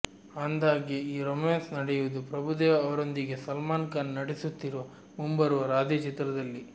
ಅಂದ್ಹಾಗೆ ಈ ರೋಮ್ಯಾನ್ಸ್ ನಡೆಯುವುದು ಪ್ರಭುದೇವ ಅವರೊಂದಿಗೆ ಸಲ್ಮಾನ್ ಖಾನ್ ನಟಿಸುತ್ತಿರುವ ಮುಂಬರುವ ರಾಧೆ ಚಿತ್ರದಲ್ಲಿ